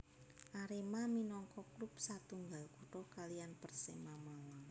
Arema minangka klub setunggal kutha kaliyan Persema Malang